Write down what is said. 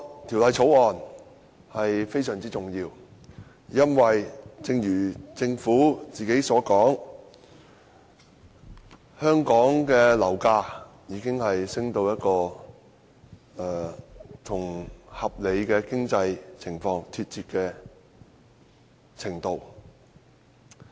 《條例草案》非常重要，因為正如政府所說，香港的樓價已升至與合理的經濟情況脫節的程度。